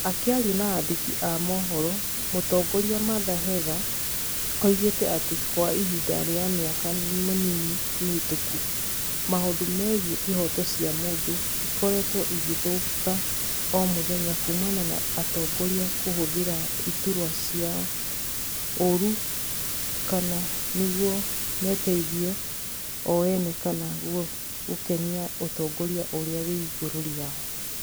Akiaria na andĩki a mohoro, mũtongoria Martha Hega, oigite atĩ kwa ihinda rĩa mĩaka mĩnini mĩhĩtũku, maũndũ megiĩ ihooto cia mũndũ ĩkoretwo ĩgĩthũka o mũthenya kumana na atongoria kũhũthĩra iturwa ciao ũru kama niguo meteithie o ene kana gũkenia ũtongoria ũrĩa wĩ igũrũ rĩao